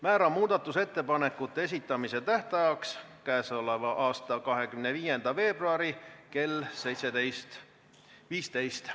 Määran muudatusettepanekute esitamise tähtajaks k.a 25. veebruari kell 17.15.